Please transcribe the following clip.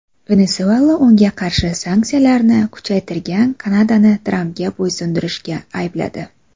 Venesuela unga qarshi sanksiyalarni kuchaytirgan Kanadani Trampga bo‘ysunishda aybladi.